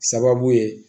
Sababu ye